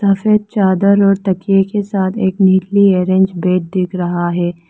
सफेद चादर और तकिए के साथ एक नीली आरेंज बेड दिख रहा है।